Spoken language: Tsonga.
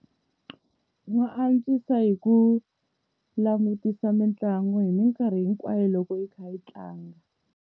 Wa antswisa hi ku langutisa mitlangu hi mikarhi hinkwayo loko yi kha yi tlanga.